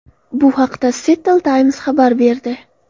Bu haqda Seattle Times xabar berdi.